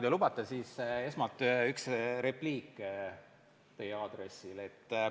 Kui lubate, siis esmalt teen ühe repliigi teie aadressil.